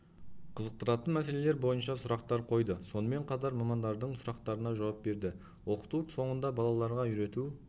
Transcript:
қызықтыратын мәселелер бойынша сұрақтар қойды сонымен қатар мамандардың сұрақтарына жауап берді оқыту соңында балаларға үйрету